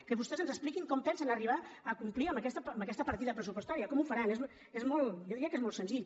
que vostès ens expliquin com pensen arribar a complir amb aquesta partida pressupostària com ho faran jo diria que és molt senzill